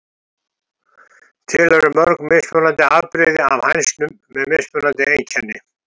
Til eru mörg mismunandi afbrigði af hænsnum með mismunandi einkenni.